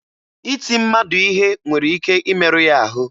Iti mmadụ ihe nwere ike imeru ya ahụ